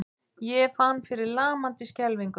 Ég fann fyrir lamandi skelfingu.